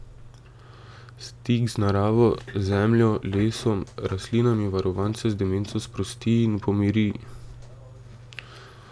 Stik z naravo, zemljo, lesom, rastlinami varovance z demenco sprosti in pomiri.